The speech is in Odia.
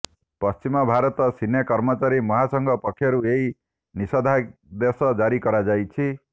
ପଶ୍ଚମ ଭାରତ ସିନେ କର୍ମଚାରୀ ମହାସଂଘ ପକ୍ଷରୁଏହି ନିଷେଧାଦେଶ ଜାରି କରାଯାଇଛି